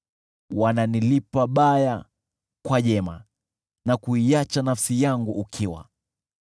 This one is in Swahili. Wananilipa baya kwa jema na kuiacha nafsi yangu ukiwa.